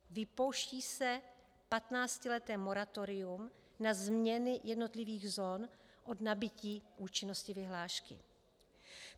Vypouští se 15leté moratorium na změny jednotlivých zón od nabytí účinnosti vyhlášky.